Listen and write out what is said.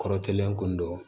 Kɔrɔ kɛlen kun don